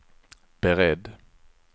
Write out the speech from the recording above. beredd